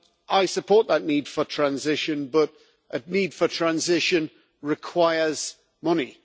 I support that need for transition, but a need for transition requires money.